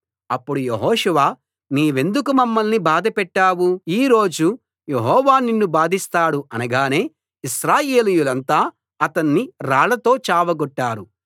అప్పుడు యెహోషువ నీవెందుకు మమ్మల్ని బాధపెట్టావు ఈ రోజు యెహోవా నిన్ను బాధిస్తాడు అనగానే ఇశ్రాయేలీయులంతా అతణ్ణి రాళ్లతో చావగొట్టారు